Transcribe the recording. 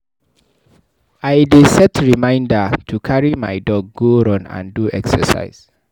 I dey set reminder to carry my dog go run and do exercise.